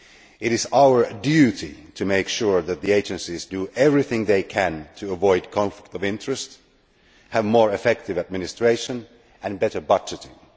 It is our duty to make sure that the agencies do everything they can to avoid conflicts of interest and to have more effective administration and better budgeting.